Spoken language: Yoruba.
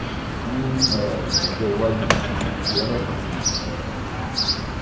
ní um ọjọ́ iwájú bí o bá fẹ́ kàn sí mi um tààrà